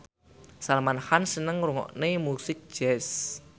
Salman Khan seneng ngrungokne musik jazz